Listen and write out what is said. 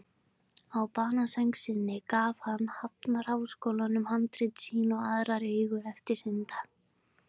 Á banasæng sinni gaf hann Hafnarháskóla handrit sín og aðrar eigur eftir sinn dag.